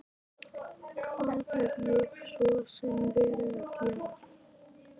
Hvað hef ég svo sem verið að gera?